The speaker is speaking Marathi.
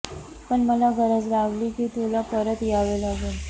पण मला गरज लागली की तुला परत यावे लागेल